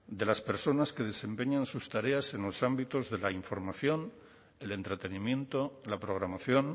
de las personas que desempeñan sus tareas en los ámbitos de la información el entretenimiento la programación